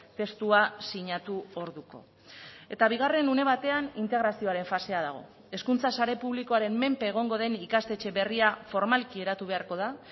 testua sinatu orduko eta bigarren une batean integrazioaren fasea dago hezkuntza sare publikoaren menpe egongo den ikastetxe berria formalki eratu beharko da